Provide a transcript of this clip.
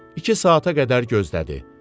İki saata qədər gözlədi.